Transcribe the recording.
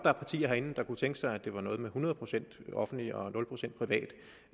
er partier herinde der kunne tænke sig at det var noget med hundrede procent offentligt og nul procent privat